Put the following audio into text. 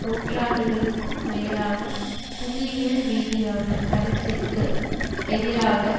நூறாண்டுகளுக்கும் மேலான புவியியல் ரீதியான அரசிற்கு எதிராக